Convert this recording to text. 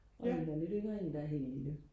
og en der er lidt yngre en der er helt lille